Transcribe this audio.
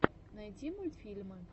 найди мультфильмы